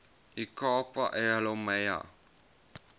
ikapa elihlumayo